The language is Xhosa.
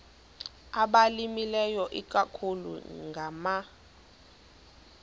abalimileyo ikakhulu ngama